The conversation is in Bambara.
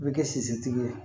I bɛ kɛ sisitigi ye